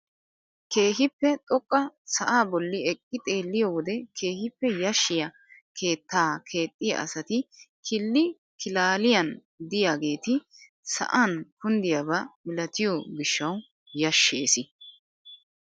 Keehippe xoqqa sa'aa bolli eqqi xeelliyoo wode keehippe yashshiyaa keettaa keexxiyaa asati killi kilaaliyaan de'iyaageti sa'an kunddiyaaba milatiyoo gishshawu yashshees!